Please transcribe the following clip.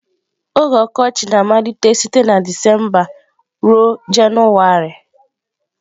Oge Okochị na-amalite site na Disemba ruo Jenụwarị.